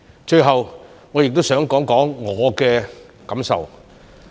最後我亦想談談我的感受。